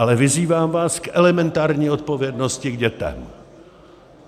Ale vyzývám vás k elementární odpovědnosti k dětem.